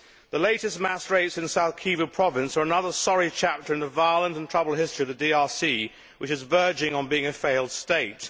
The latest mass rapes in South Kivu province are another sorry chapter in the violent and troubled history of the DRC, which is verging on being a failed state.